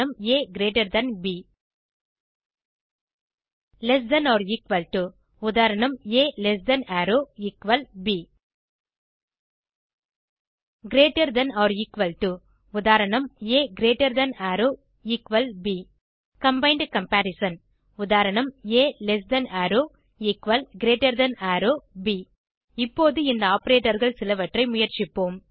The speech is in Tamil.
ஆ ப் lesser than or equal to உதாa லெஸ் தன் அரோவ் எக்குவல் ப் greater than or equal to உதாa கிரீட்டர் தன் அரோவ் எக்குவல் ப் கம்பைண்ட் கம்பரிசன் உதாa less than arrow equal greater than arrow ப் இப்போது இந்த operatorகள் சிலவற்றை முயற்சிப்போம்